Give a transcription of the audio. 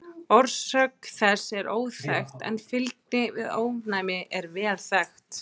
Orsök þess er óþekkt en fylgni við ofnæmi er vel þekkt.